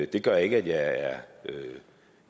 det gør ikke at jeg er